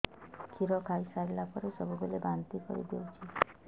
କ୍ଷୀର ଖାଇସାରିଲା ପରେ ସବୁବେଳେ ବାନ୍ତି କରିଦେଉଛି